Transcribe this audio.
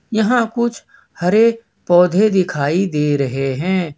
यहां कुछ हरे पौधे दिखाई दे रहे हैं।